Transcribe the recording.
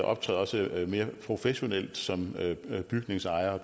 optræde også mere professionelt som bygningsejer